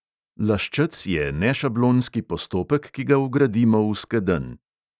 Laščec je nešablonski postopek, ki ga vgradimo v skedenj.